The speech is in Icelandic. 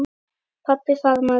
Pabbi faðmaði